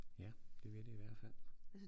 Ja det vil det i hvert fald